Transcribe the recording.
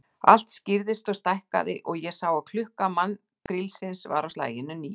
Allt skýrðist og stækkaði, og ég sá að klukka mannkrílisins var á slaginu níu.